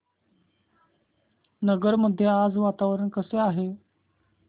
नगर मध्ये आज वातावरण कसे आहे